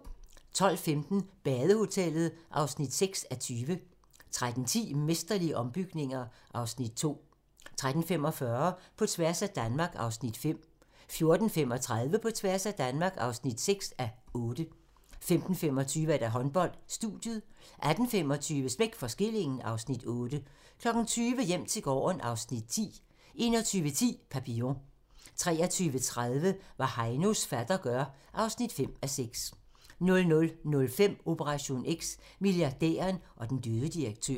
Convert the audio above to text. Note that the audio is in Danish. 12:15: Badehotellet (6:20) 13:10: Mesterlige ombygninger (Afs. 2) 13:45: På tværs af Danmark (5:8) 14:35: På tværs af Danmark (6:8) 15:25: Håndbold: Studiet 18:25: Smæk for skillingen (Afs. 8) 20:00: Hjem til gården (Afs. 10) 21:10: Papillon 23:30: Hvad Heinos fatter gør (5:6) 00:05: Operation X: Milliardæren og den døde direktør